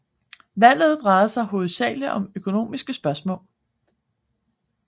Valget drejede sig hovedsagelig om økonomiske spørgsmål